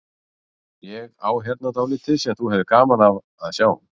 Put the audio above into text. Ég á hérna dálítið sem þú hefðir gaman af að sjá.